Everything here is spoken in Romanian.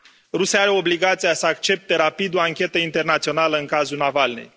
Rusia are obligația să accepte rapid o anchetă internațională în cazul Navalnîi.